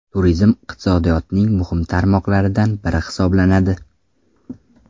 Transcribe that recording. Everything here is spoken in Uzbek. Turizm iqtisodiyotning muhim tarmoqlaridan biri hisoblanadi.